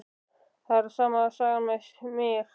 Það er sama sagan með mig.